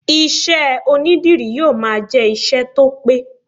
Iṣẹ́ onídìrí yóò máa jẹ ìṣe tó pẹ́.